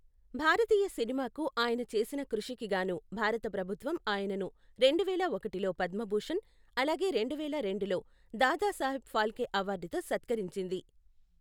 భారతీయ సినిమాకు ఆయన చేసిన కృషికి గాను భారత ప్రభుత్వం ఆయనను రెండువేల ఒకటిలో పద్మభూషణ్, అలాగే రెండువేల రెండులో దాదాసాహెబ్ ఫాల్కే అవార్డుతో సత్కరించింది.